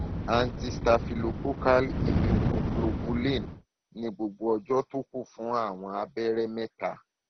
antistaphylococcal immunoglobulin ní gbogbo ọjọ tó kù fún àwọn abẹrẹ mẹta